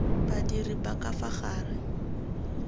badiri ba ka fa gare